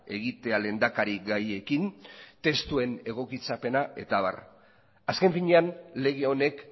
egitea lehendakari gaiekin testuen egokitzapena eta abar azken finean lege honek